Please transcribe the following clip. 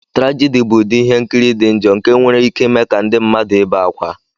Trajidi bụ ụdị ihe nkiri dị njọ nke nwere ike ime ka ndị mmadụ ibe ákwá.